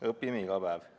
Õpime iga päev.